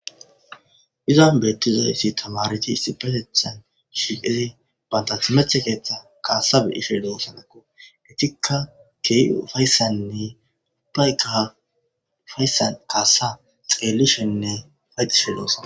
Izan beeyizausi tamareti issipetethan banta timirte keeyhan kaasa beyosje doosonako etika keeji ufaysanni ubbayka ufaysan de'osona kaasa xeelishenne ufayetishe de'osona